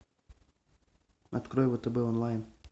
открой втб онлайн